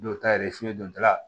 Dɔw ta yɛrɛ don da